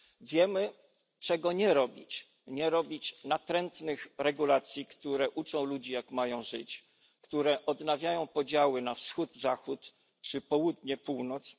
Wiemy, czego nie robić nie robić natrętnych regulacji, które uczą ludzi, jak mają żyć, które odnawiają podziały na Wschód Zachód czy Południe Północ.